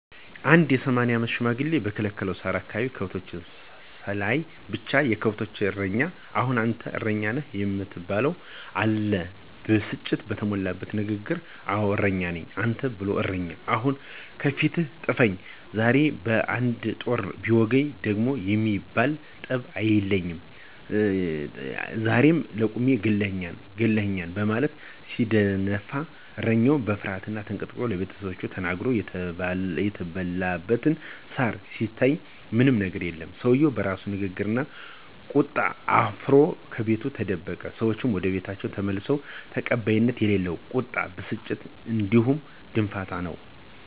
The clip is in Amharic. አንድ የ፸ አመት ሽማግሌ በከለከለው ሳር አካባቢ ከብቶችን ስላየ ብቻ፤ የከብቶችን እረኛ አሁን አንተ እረኛ ነው የምትባለው! አለ ብስጭት በተሞላበት ንግግር። አወ እረኛ ነኝ። አንተን ብሎ እረኛ ! አሁን ከፊቴ ጥፈኝ! ዛሬማ በ፶ ጦር ቢወጉኝ ደም የሚባል ጠብ አይለኝም! ዛሬማ ለቁሜ ገለህኛል! ገለህኛል! በማለት ሲደነፋ እረኛው በፍርሀት ተንቀጥቅጦ ለቤተሰቦቹ ተናግሮ የተበላበት ሳር ሲታይ ምንም የገር የለም። ሰውየው በራሱ ንግግርና ቁጣ አፍሮ ከቤቱ ተደበቀ። ሰዎቹም ወደቤታቸው ተመለሱ። ተቀባይነት የሌለው ቁጣና ብስጭት እንዲሁም ድንፋታ ነው።